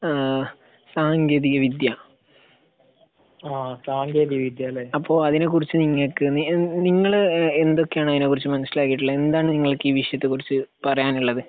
ഏഹ് സാങ്കേന്തിക വിദ്യ അപ്പൊ അതിനെ കുറിച്ച് നിങ്ങൾക്ക് നിങ്ങള് എന്തൊക്കെയാണ് അതിനെ കുറിച്ച് മനസിലാക്കിയിട്ടുള്ളത്? എന്താണ് നിങ്ങൾക്ക് ഈ വിഷയത്തെ കുറിച്ച് പറയാനുള്ളത്?